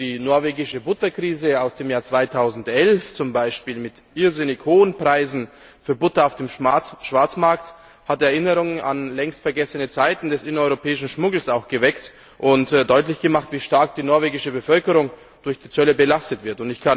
Die norwegische Butterkrise im Jahr 2011 zum Beispiel, mit irrsinnig hohen Preisen für Butter auf dem Schwarzmarkt, hat Erinnerungen an längst vergessene Zeiten des innereuropäischen Schmuggels geweckt und deutlich gemacht, wie stark die norwegische Bevölkerung durch die Zölle belastet wird.